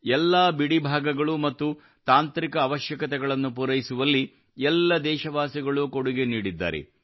ಎಲ್ಲಾ ಬಿಡಿ ಭಾಗಗಳು ಮತ್ತು ತಾಂತ್ರಿಕ ಅವಶ್ಯಕತೆಗಳನ್ನು ಪೂರೈಸುವಲ್ಲಿ ಎಲ್ಲ ದೇಶವಾಸಿಗಳು ಕೊಡುಗೆ ನೀಡಿದ್ದಾರೆ